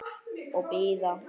Og bíða.